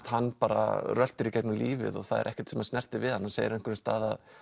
hann bara röltir í gegnum lífið og það er ekkert sem snertir við honum hann segir á einhverjum stað að